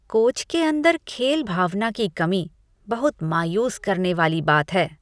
Coach के अंदर खेल भावना की कमी बहुत मायूस करने वाली बात है।